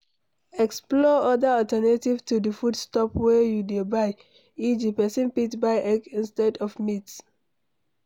Explore other alternatives to di food stuff wey you dey buy e.g person fit buy egg insted of meat